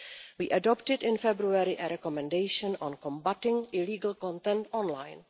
We adopted in February a recommendation on combating illegal content online.